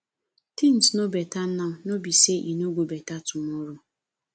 things no beta now no be say e no go beta tomorrow